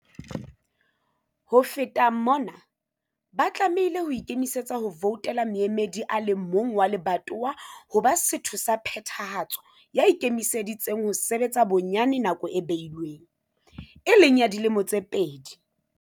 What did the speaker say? Ho feta mona, ba tlamehile ho ikemisetsa ho ya voutela moemedi a le mong wa lebatowa ho ba Setho sa Phethahatso ya ikemiseditseng ho sebetsa bonyane nako e behilweng, e leng ya dilemo tse pedi.